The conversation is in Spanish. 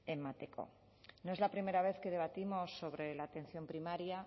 emateko no es la primera vez que debatimos sobre la atención primaria